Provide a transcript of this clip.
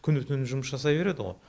күні түні жұмыс жасай береді ғой